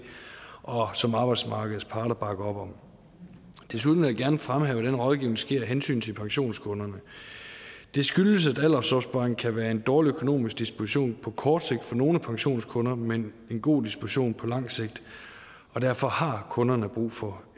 og som arbejdsmarkedets parter bakker op om desuden vil jeg gerne fremhæve at den rådgivning sker af hensyn til pensionskunderne det skyldes at aldersopsparing kan være en dårlig økonomisk disposition på kort sigt for nogle af pensionskunderne men en god disposition på lang sigt og derfor har kunderne brug for